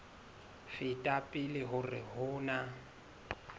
feta pele hore ho na